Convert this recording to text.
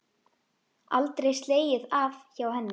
Aldrei slegið af hjá henni.